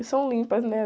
E são limpas, né?